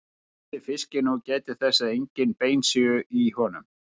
Hreinsið fiskinn og gætið þess að engin bein séu í honum.